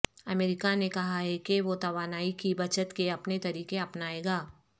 امریکہ نے کہا ہے کہ وہ توانائی کی بچت کے اپنے طریقے اپنائے گا